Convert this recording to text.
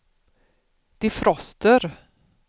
defroster